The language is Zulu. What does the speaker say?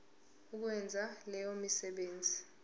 ukwenza leyo misebenzi